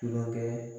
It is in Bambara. Tulonkɛ